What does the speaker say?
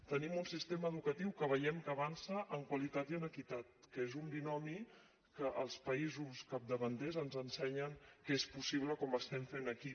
tenim un sistema educatiu que veiem que avança en qualitat i en equitat que és un binomi que els països capdavanters ens ensenyen que és possible com l’estem fent aquí